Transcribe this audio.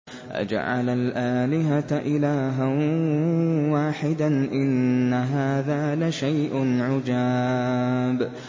أَجَعَلَ الْآلِهَةَ إِلَٰهًا وَاحِدًا ۖ إِنَّ هَٰذَا لَشَيْءٌ عُجَابٌ